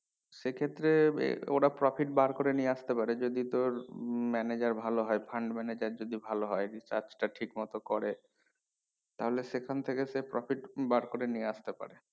সে ক্ষেত্রে এ ওরা profit বার করে নিয়ে আস্তে পারে যদি তোর উম manager ভালো হয় fund manager যদি ভালো হয় যদি কাজটা ঠিক মতো করে তাহলে সেখান থেকে সে profit বের করে নিয়ে আস্তে পারবে